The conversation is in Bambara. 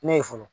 Ne ye fɔlɔ